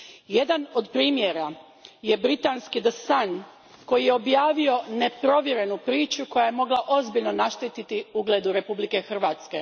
Jedan je od primjera britanski The Sun koji je objavio neprovjerenu priču koja je mogla ozbiljno naštetiti ugledu Republike Hrvatske.